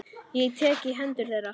Ég tek í hendur þeirra.